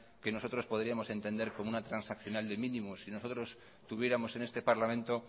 que nosotros podríamos entender como una transaccional de mínimos si nosotros tuviéramos en este parlamento